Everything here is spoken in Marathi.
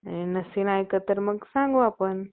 नसेल ऐकत तर मग सांगू आपण